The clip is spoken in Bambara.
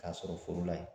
K'a sɔrɔ foro la ye